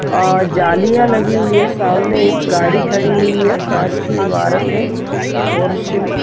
--आ-जालियां लगी हुई है सामने एक गाड़ी खड़ी हुई है कांच की इमारत है और शिम --